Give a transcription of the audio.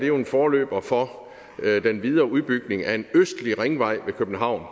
jo en forløber for den videre udbygning af en østlig ringvej ved københavn